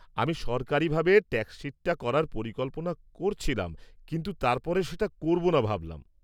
আমি সরকারীভাবে ট্যাক্স শিটটা করার পরিকল্পনা করছিলাম কিন্তু তারপরে সেটা করব না ভাবলাম।